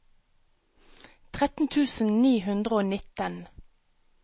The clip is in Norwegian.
tretten tusen ni hundre og nitten